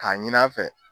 K'a ɲin'a fɛ